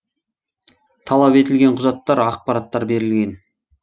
талап етілген құжаттар ақпараттар берілген